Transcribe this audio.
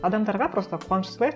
адамдарға просто қуаныш сыйлайық